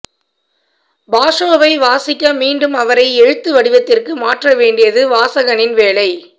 பாஷோவை வாசிக்க மீண்டும் அவரை எழுத்து வடிவத்திற்கு மாற்ற வேண்டியது வாசகனின் வேலை